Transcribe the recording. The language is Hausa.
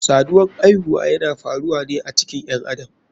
Saduwan aihuwa yana faruwane a cikin ƴen adam.